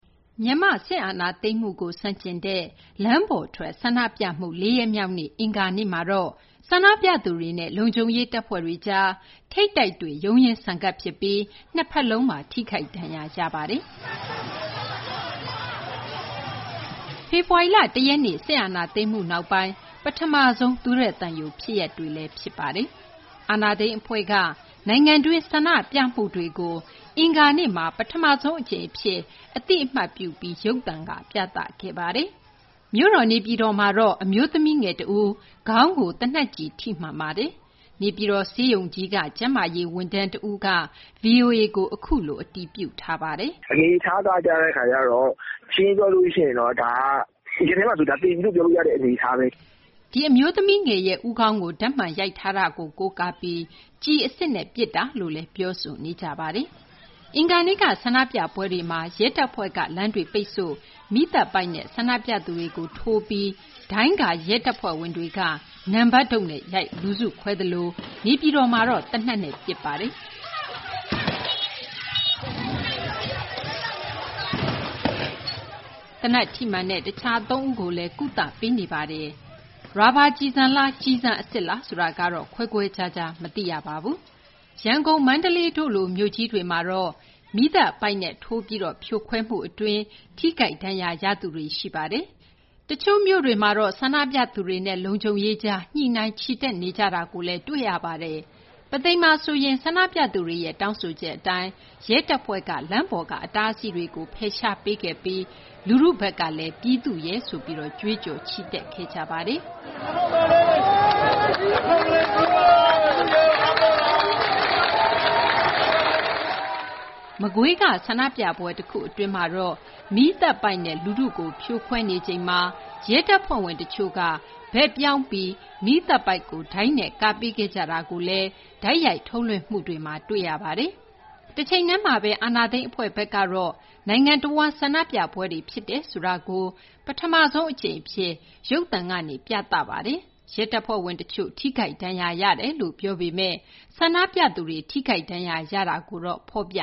မြန်မာ့ စစ်အာဏာသိမ်းမှုကို ဆန့်ကျင်တဲ့ လမ်းပေါ်ထွက် ဆန္ဒပြမှု ၄ ရက်မြောက်နေ့ အင်္ဂါနေ့မှာတော့ ဆန္ဒပြသူတွေနဲ့ လုံခြုံရေး တပ်ဖွဲ့တွေကြား ထိပ်တိုက်တွေ့ ရုန်းရင်းဆန်ခတ်ဖြစ်ပြီး ၂ ဖက်လုံးမှာ ထိခိုက်ဒဏ်ရာရခဲ့ပါတယ်။ ဖေဖော်ဝါရီလ ၁ ရက်နေ့ စစ်အာဏာသိမ်မှု နောက်ပိုင်း ပထမဆုံး သွေးထွက်သံယို ဖြစ်ရပ်ပါ။ အာဏာသိမ်း အဖွဲ့က နိုင်ငံတွင်း ဆန္ဒပြမှုတွေကို အင်္ဂါနေ့မှာ ပထမဆုံး အကြိမ်အဖြစ် အသိအမှတ်ပြု ပြသခဲ့ပါတယ်။ မြို့တော် နေပြည်တော်မှာတော့ အမျိုးသမီးငယ် တဦး ခေါင်းကို သေနတ်ကျည် ထိမှန်ပါတယ်။ နေပြည်တော် ဆေးရုံကြီးက ကျန်းမာရေး ဝန်ထမ်းက VOA ကို အခုလို အတည်ပြုပါတယ်။ “အနေအထားက ရှင်းရှင်းပြောလို့ရှိရင် ဒါက သေပြီလို့ ပြောလို့ရတဲ့ အနေအထားပဲ။” ဒီအမျိုးသမီးငယ်ရဲ့ ဦးခေါင်းကို ဓာတ်မှန်ရိုက်ထားတာကို ကိုးကားပြီး ကျည်အစစ်နဲ့ ပစ်တာလို့လည်း ပြောဆိုနေကြပါတယ်။ အင်္ဂါနေ့က ဆန္ဒပြပွဲတွေမှာ ရဲတပ်ဖွဲ့က လမ်းတွေ ပိတ်ဆို့၊ မီးသတ်ပိုက်နဲ့ ဆန္ဒပြသူတွေကို ထိုးပြီး ဒိုင်းကာ ရဲတပ်ဖွဲ့ဝင်တွေက နံပတ်တုတ်နဲ့ ရိုက် လူစုခွဲသလို နေပြည်တော်မှာတော့ သေနတ်နဲ့ ပစ်ပါတယ်။ သေနတ် ထိမှန်တဲ့ တခြား သုံးဦးကိုလည်း ကုသပေးနေဆဲပါ။ ရာဘာ ကျည်ဆန်လား ကျည်ဆန် အစစ်လားဆိုတာကတော့ ခွဲခွဲခြားခြား မသိရပါဘူး။ ရန်ကုန်၊ မန္တလေး တို့လို မြို့ကြီးတွေမှာတော့ မီးသတ်ပိုက်နဲ့ ထိုးပြီး ဖြိုခွဲမှု အတွင်း ထိခိုက်ဒဏ်ရာရသူတွေ ရှိပါတယ်။ မျက်ရည်ယိုဗုံးလည်း သုံးပါတယ်။ တချို့ မြို့တွေမှာတော့ ဆန္ဒပြသူတွေနဲ့ လုံခြုံရေးကြား ညှိနှိုင်း ချီတက်နေကြတာလည်း တွေ့ရပါတယ်။ ပုသိမ်မှာ ဆိုရင် ဆန္ဒပြသူတွေရဲ့ တောင်းဆိုချက် အတိုင်း ရဲတပ်ဖွဲ့က လမ်းပေါ်က အတားအဆီးတွေကို ဖယ်ရှားပေးခဲ့ပြီး လူထုကလည်း ပြည်သူ့ရဲ ဆိုပြီး ကြွေးကြော်ခဲ့ကြပါတယ်။ မကွေးက ဆန္ဒပြပွဲ တခု အတွင်းမှာတော့ မီးသတ်ပိုက်နဲ့ လူထုကို ဖြိုခွဲနေချိန်မှာ ရဲတပ်ဖွဲ့ဝင် တချို့က လူထုဘက်ကို ပြောင်းပြီး မီးသတ်ပိုက်ကို ဒိုင်းနဲ့ ကာပေးခဲ့ကြတာကို တိုက်ရိုက်ထုတ်လွှင့်မှုမှာ တွေ့ရပါတယ်။ တချိန်တည်းမှာဘဲ အာဏာသိမ်း အဖွဲ့ဘက်ကတော့ နိုင်ငံတဝန်း ဆန္ဒပြပွဲတွေ ဖြစ်တယ်ဆိုတာကို ပထမဆုံး အကြိမ် အဖြစ် ရုပ်သံကနေ ပြသခဲ့ပါတယ်။ ရဲတပ်ဖွဲ့ဝင် တချို့ ထိခိုက်ဒဏ်ရာ ရတယ်လို့ ပြောပေမယ့် ဆန္ဒပြသူတွေ ထိခိုက်ဒဏ်ရာရမှုကိုတော့ မဖော်ပ